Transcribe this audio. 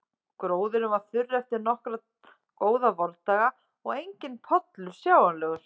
Gróðurinn var þurr eftir nokkra góða vordaga og enginn pollur sjáanlegur.